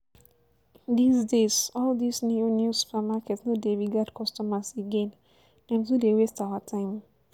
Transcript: This days all this new new supermarket no dey regard customers again, dem too dey waste our time